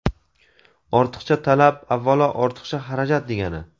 Ortiqcha talab, avvalo, ortiqcha xarajat degani.